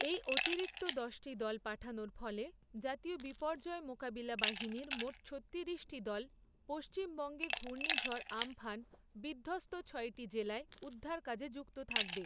এই অতিরিক্ত দশটি দল পাঠানোর ফলে, জাতীয় বিপর্যয় মোকাবিলা বাহিনীর মোট ছত্তিরিশটি দল, পশ্চিমবঙ্গে ঘূর্ণিঝড় আমফান বিধ্বস্ত ছয়টি জেলায় উদ্ধারকাজে যুক্ত থাকবে।